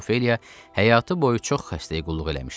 Miss Ofeliya həyatı boyu çox xəstəyə qulluq eləmişdi.